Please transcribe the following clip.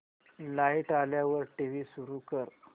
light आल्यावर TV सुरू कर